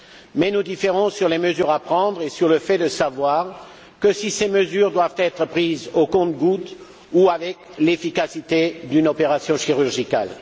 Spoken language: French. Mais nous différons sur les mesures à prendre et sur le fait de savoir si ces mesures doivent être prises au compte gouttes ou avec l'efficacité d'une opération chirurgicale.